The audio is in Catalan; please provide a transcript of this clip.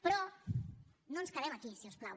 però no ens quedem aquí si us plau